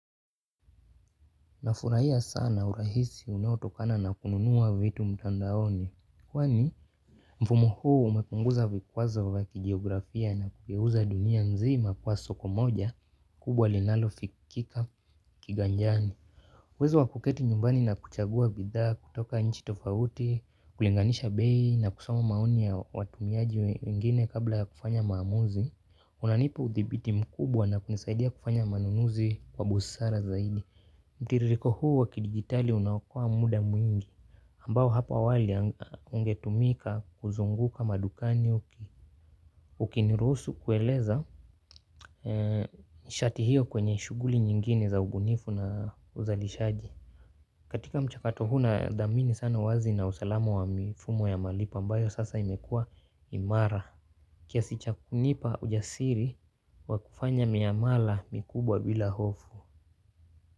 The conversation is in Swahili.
Nafurahia sana urahisi unaotokana na kununua vitu mtandaoni. Kwani mfumo huu umepunguza vikwazo vya kigeografia na kugeuza dunia nzima kuwa soko moja kubwa linalofikika kiganjani. Uwezo wa kuketi nyumbani na kuchagua bidhaa kutoka nchi tofauti, kulinganisha bei na kusoma maoni ya watumiaji wengine kabla ya kufanya maamuzi. Unanipa uthibiti mkubwa na kunisaidia kufanya manunuzi kwa busara zaidi. Mtiririko huu wa kidigitali unaokoa muda mwingi ambao hapo awali ungetumika kuzunguka madukani uki ukiniruhusu kueleza nishati hiyo kwenye shughuli nyingine za ubunifu na uzalishaji. Katika mchakato huu nadhamini sana uwazi na usalamu wa mifumo ya malipo ambayo sasa imekua imara kiasi cha kunipa ujasiri wa kufanya miamala mikubwa bila hofu.